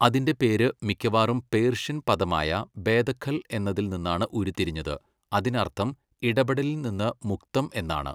അതിന്റെ പേര് മിക്കവാറും പേർഷ്യൻ പദമായ ബേദഖൽ എന്നതിൽ നിന്നാണ് ഉരുത്തിരിഞ്ഞത്, അതിനർത്ഥം ഇടപെടലിൽ നിന്ന് മുക്തം എന്നാണ്.